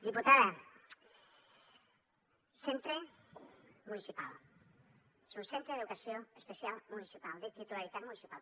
diputada centre municipal és un centre d’educació especial municipal de titularitat municipal